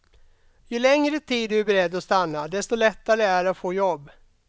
Ju längre tid du är beredd att stanna, desto lättare är det att få jobb.